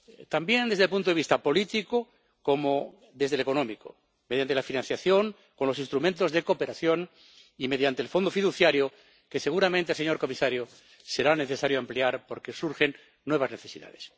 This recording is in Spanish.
Tanto desde el punto de vista político como desde el económico, mediante la financiación con los instrumentos de cooperación y mediante el Fondo fiduciario que seguramente, señor comisario, será necesario ampliar porque surgen nuevas necesidades.